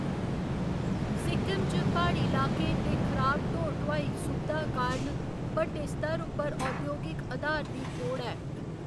सिक्किम च प्हाड़ी लाकें ते खराब ढो ढुआई सुबधा कारण बड्डे स्तर उप्पर औद्योगिक आधार दी थोड़ ऐ।